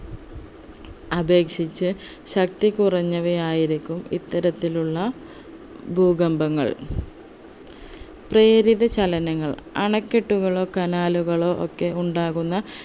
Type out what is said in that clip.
അപേക്ഷിച്ച് ശക്തി കുറഞ്ഞവയായിരിക്കും ഇത്തരത്തിലുള്ള ഭൂകമ്പങ്ങൾ പ്രേരിത ചലനങ്ങൾ അണകെട്ടുകളോ canal കളോ ഒക്കെ ഉണ്ടാകുന്ന